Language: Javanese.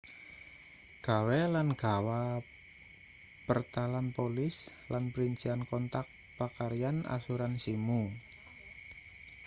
gawe lan gawa pertalan polis lan princian kontak pakaryan asuransimu